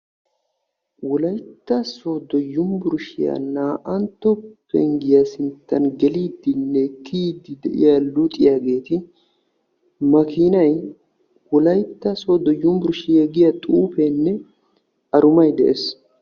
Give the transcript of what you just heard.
Wolaytta sooddo yunbburshshiya naa''antto penggiya sinttan geliiddinne kiyiidi de'iya luxiyaageeti, makiinay, wolaytta sooddo yunbburshiya giya xuufeenne arumay de'ees.